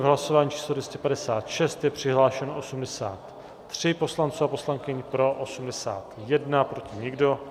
V hlasování číslo 256 je přihlášeno 83 poslanců a poslankyň, pro 81, proti nikdo.